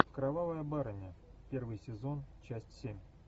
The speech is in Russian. кровавая барыня первый сезон часть семь